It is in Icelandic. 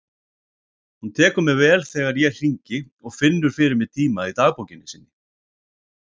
Hún tekur mér vel þegar ég hringi og finnur fyrir mig tíma í dagbókinni sinni.